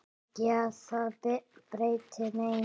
Ekki að það breytti neinu.